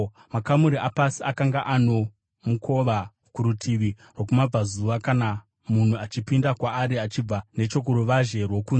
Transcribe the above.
Makamuri apasi akanga ano mukova kurutivi rwokumabvazuva kana munhu achipinda kwaari achibva nechokuruvazhe rwokunze.